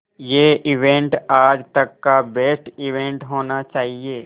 ये इवेंट आज तक का बेस्ट इवेंट होना चाहिए